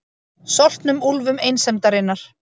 Soltnum úlfum einsemdarinnar.